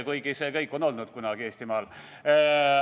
Kuigi see kõik on kunagi Eestimaal olnud.